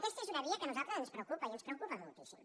aquesta és una via que a nosaltres ens preocupa i ens preocupa moltíssim